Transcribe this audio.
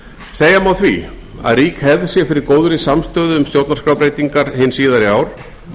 segja má því að rík hefð sé fyrir góðri samstöðu um stjórnarskrárbreytingar hin síðari ár